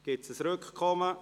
Gibt es ein Rückkommen?